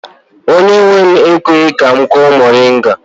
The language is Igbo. Onye nwe m ekweghi ka m kụọ moringa.